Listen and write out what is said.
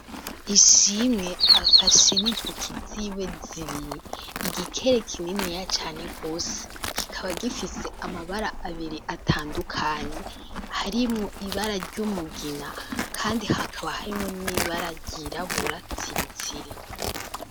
Ishimwe afashe n'intoki ziwe zibiri igikere kininiya cane gose, kikaba gifise amabara atandukanye harimwo ibara ry'umugina kandi hakaba harimwo n'ibara ryirabura tsiriri.